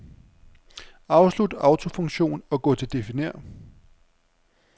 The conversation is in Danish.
Afslut autofunktion og gå til definér.